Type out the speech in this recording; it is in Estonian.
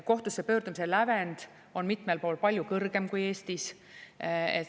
Kohtusse pöördumise lävend on mitmel pool palju kõrgem kui Eestis.